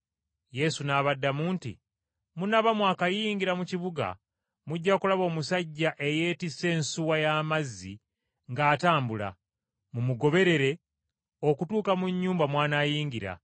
Yesu n’abaddamu nti, “Munaaba mwakayingira mu kibuga, mujja kulaba omusajja eyeetisse ensuwa y’amazzi ng’atambula. Mumugoberere okutuuka mu nnyumba mw’anaayingira,